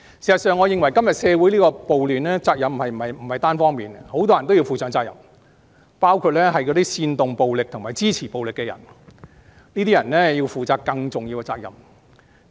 事實上，我認為今天社會出現的暴亂，責任不是單方面的，很多人均要負上責任，包括煽動暴力及支持暴力的人，這些人要負上更重大的責任。